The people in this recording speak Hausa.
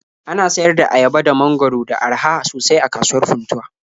Ana sayar da ayaba da mangwaro da araha sosai a kasuwar Funtuwa.